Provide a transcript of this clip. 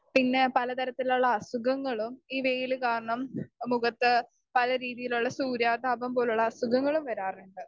Speaker 2 പിന്നെ പല തരത്തിലുള്ള അസുഖങ്ങളും ഈ വെയിൽ കാരണം മുഖത്ത് പല രീതിയിലുള്ള സൂര്യാഘാതം പോലുള്ള അസുഖങ്ങളും വരാറിണ്ട്.